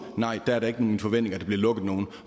nej der er det ikke min forventning bliver lukket nogen